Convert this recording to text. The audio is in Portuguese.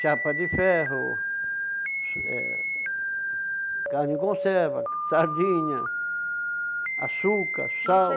chapa de ferro, eh carne em conserva, sardinha, açúcar, sal.